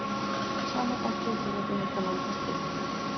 Sama bækling er einnig hægt að nálgast hér.